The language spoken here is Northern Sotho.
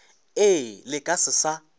ee le ka se sa